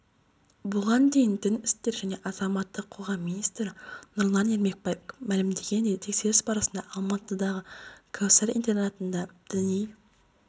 бұған дейін дін істері және азаматтық қоғамминистрі нұрлан ермекбаев мәлімдегендей тексеріс барысында алматыдағы кәусар интернатында діни